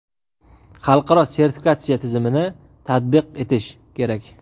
xalqaro sertifikatsiya tizimini tatbiq etish kerak.